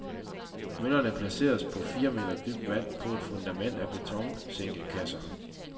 Møllerne placeres på fire meter dybt vand på et fundament at betonsænkekasser.